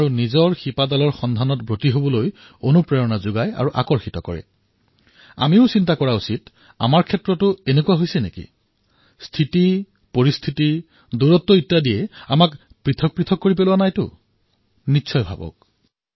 আমিও অলপ গৱেষণা কৰি চোৱা উচিত যে আমাৰ ক্ষেত্ৰতো এনেকুৱা হোৱা নাইতো স্থিতি পৰিস্থিতি দূৰত্বই আমাক পৃথক কৰা নাইতো চামনি পৰা নাইতো নিশ্চয়কৈ ভাবক